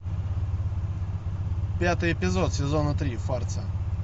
пятый эпизод сезона три фарца